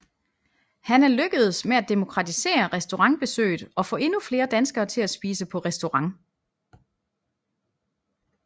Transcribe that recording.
Han er lykkedes med at demokratisere restaurantbesøget og få endnu flere danskere til at spise på restaurant